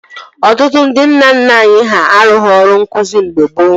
Ọtụtụ ndị nna nna anyị ha arụghi ọrụ nkụzi mgbe gboo